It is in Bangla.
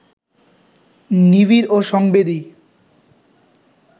নিবিড় ও সংবেদী